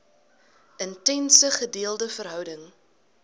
intense gedeelde verhouding